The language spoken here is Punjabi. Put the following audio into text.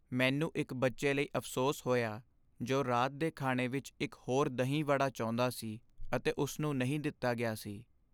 ਮੈਨੂੰ ਇੱਕ ਬੱਚੇ ਲਈ ਅਫ਼ਸੋਸ ਹੋਇਆ ਜੋ ਰਾਤ ਦੇ ਖਾਣੇ ਵਿੱਚ ਇੱਕ ਹੋਰ ਦਹੀਂ ਵੜਾ ਚਾਹੁੰਦਾ ਸੀ ਅਤੇ ਉਸਨੂੰ ਨਹੀਂ ਦਿੱਤਾ ਗਿਆ ਸੀ